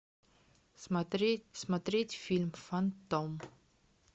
смотреть смотреть фильм фантом